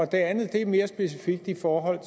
det andet er mere specifikt i forhold